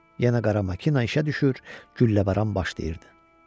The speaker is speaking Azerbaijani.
Yenə qara makina işə düşür, gülləbaran başlayırdı.